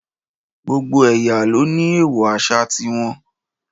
Gbogbo ẹ̀yà ló ní èèwọ̀ àṣà ti wọn